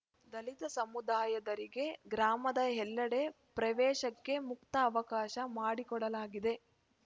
ದಲಿತ ಸಮುದಾಯದರಿಗೆ ಗ್ರಾಮದ ಎಲ್ಲೆಡೆ ಪ್ರವೇಶಕ್ಕೆ ಮುಕ್ತ ಅವಕಾಶ ಮಾಡಿಕೊಡಲಾಗಿದೆ